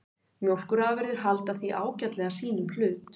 Mjólkurafurðir halda því ágætlega sínum hlut